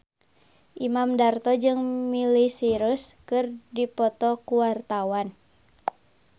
Imam Darto jeung Miley Cyrus keur dipoto ku wartawan